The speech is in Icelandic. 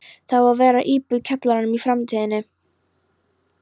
Það á að vera íbúð í kjallaranum í framtíðinni.